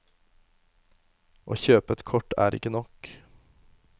Å kjøpe et kort er ikke nok.